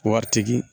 Waritigi